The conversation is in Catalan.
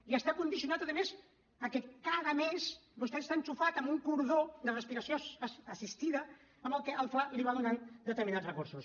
i està condicionat a més a que cada mes vostè està endollat amb un cordó de respiració assistida amb el que el fla li va donant determinats recursos